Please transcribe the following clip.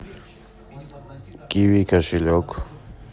киви кошелек